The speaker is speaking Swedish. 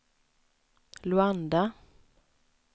Luanda